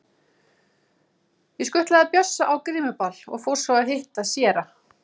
Ég skutlaði Bjössa á grímuball og fór svo að hitta séra